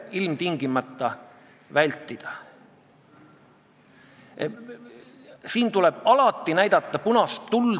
Aadu Must tegi ettepaneku määrata komisjoni esindajana ettekandjaks Toomas Jürgenstein ja võtta eelnõu täiskogu istungi päevakorda 25. oktoobriks, see on siis tänaseks.